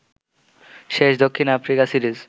শেষ দক্ষিণ Africa series